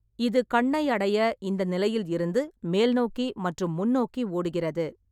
இது கண்ணை அடைய இந்த நிலையில் இருந்து மேல்நோக்கி மற்றும் முன்னோக்கி ஓடுகிறது.